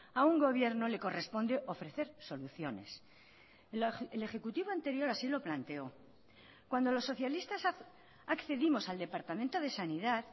a un gobierno le corresponde ofrecer soluciones el ejecutivo anterior así lo planteó cuando los socialistas accedimos al departamento de sanidad